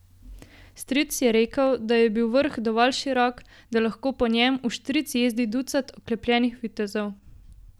Stric je rekel, da je bil vrh dovolj širok, da lahko po njem vštric jezdi ducat oklepljenih vitezov.